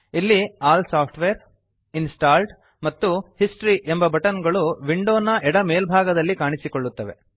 ಇಲ್ಲಿ all software installed ಮತ್ತು history ಎಂಬ ಬಟನ್ ಗಳು ವಿಂಡೋನ ಎಡ ಮೇಲ್ಭಾಗದಲ್ಲಿ ಕಾಣಿಸುತ್ತವೆ